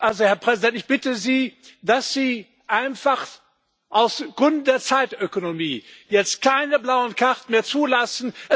Also, Herr Präsident, ich bitte Sie, dass Sie einfach aus Gründen der Zeitökonomie jetzt keine blauen Karten mehr zulassen.